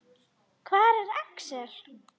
Hvar er Axel?